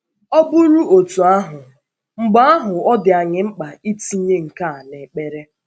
Ọ bụrụ otú ahụ, mgbe ahụ ọ dị um anyị mkpa itinye nke a n’ekpere.